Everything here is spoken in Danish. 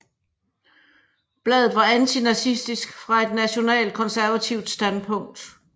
Bladet var antinazistisk fra et nationalkonservativt standpunkt